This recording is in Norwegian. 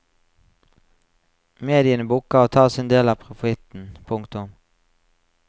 Mediene bukker og tar sin del av profitten. punktum